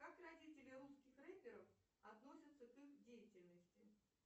как родители русских рэперов относятся к их деятельности